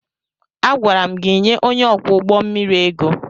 Agwara m gị nye onye ọkwọ ụgbọ mmiri ego!